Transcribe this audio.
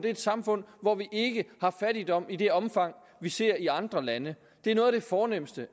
et samfund hvor vi ikke har fattigdom i det omfang vi ser i andre lande det er noget af det fornemste